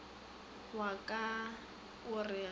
wa ka o re ge